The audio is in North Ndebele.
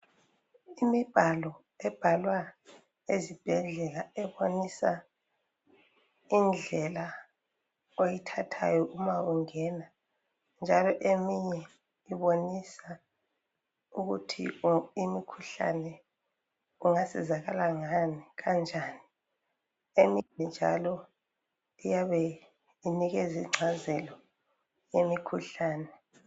Imibhaloo ebhalwa esibhedlela ebonisa indlela oyithathayo ma ungena njalo eminye ibonisa ukuthi imikhuhlane ungasizakala ngani kanjani eminye njalo iyabe inikeza ingcazelo yemikhuhlane.